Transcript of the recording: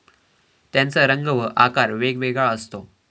त्याचा रंग व आकार वेगवेगळा असतो.